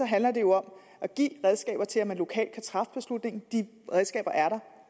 handler det jo om at give redskaber til at man lokalt kan træffe beslutning de redskaber er der